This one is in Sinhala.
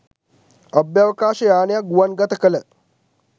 අභ්‍යවකාශ යානයක් ගුවන් ගත කළ